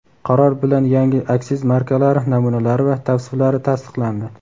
Qaror bilan yangi aksiz markalari namunalari va tavsiflari tasdiqlandi.